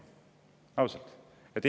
Ausalt!